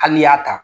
Hali n'i y'a ta